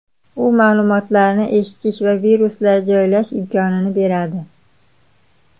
U ma’lumotlarni eshitish va viruslar joylash imkonini beradi.